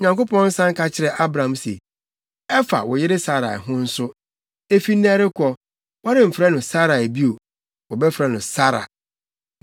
Onyankopɔn san ka kyerɛɛ Abraham se, “Ɛfa wo yere Sarai ho nso, efi nnɛ rekɔ, woremfrɛ no Sarai bio. Wobɛfrɛ no Sara.